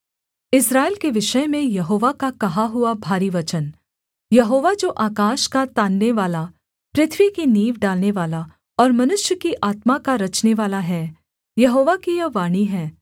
इस्राएल के विषय में यहोवा का कहा हुआ भारी वचन यहोवा जो आकाश का ताननेवाला पृथ्वी की नींव डालनेवाला और मनुष्य की आत्मा का रचनेवाला है यहोवा की यह वाणी है